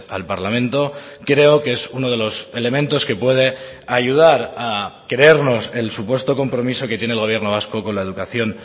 al parlamento creo que es uno de los elementos que puede ayudar a creernos el supuesto compromiso que tiene el gobierno vasco con la educación